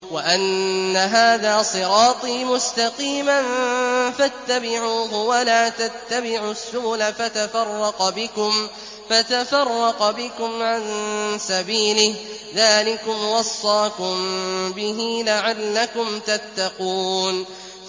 وَأَنَّ هَٰذَا صِرَاطِي مُسْتَقِيمًا فَاتَّبِعُوهُ ۖ وَلَا تَتَّبِعُوا السُّبُلَ فَتَفَرَّقَ بِكُمْ عَن سَبِيلِهِ ۚ ذَٰلِكُمْ وَصَّاكُم بِهِ لَعَلَّكُمْ تَتَّقُونَ